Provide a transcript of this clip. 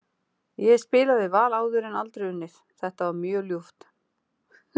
Ég hef spilað við Val áður en aldrei unnið, þetta var mjög ljúft.